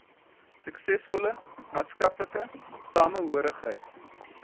suksesvolle maatskaplike samehorigheid